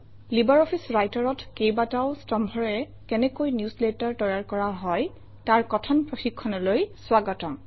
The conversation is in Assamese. লাইব্ৰঅফিছ Writer অত কেইবাটাও স্তম্ভৰে কেনেকৈ নিউজলেটাৰ তৈয়াৰ কৰা হয় তাৰ কথন প্ৰশিক্ষণলৈ স্বাগতম